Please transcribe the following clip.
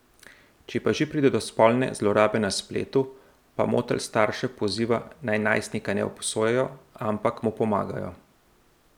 Če pa že pride do spolne zlorabe na spletu, pa Motl starše poziva, naj najstnika ne obsojajo, ampak mu pomagajo.